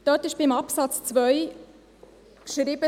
Dort steht in Absatz 2 geschrieben